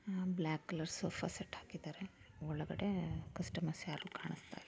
Block colour sofa set ಹಾಕಿದರೆ ಒಳಗಡೆ customers ಯಾರು ಕಾಣಿಸ್ತಾ ಇಲ್ಲ.